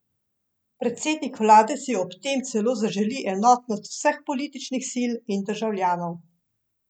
Predsednik vlade si ob tem celo zaželi enotnost vseh političnih sil in državljanov.